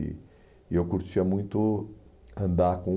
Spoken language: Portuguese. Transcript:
E e eu curtia muito andar com...